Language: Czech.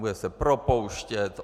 Bude se propouštět!